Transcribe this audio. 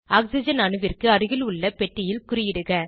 oxygen அணுவிற்கு அருகில் உள்ள பெட்டியில் குறியிடுக